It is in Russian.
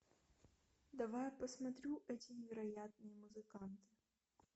давай я посмотрю эти невероятные музыканты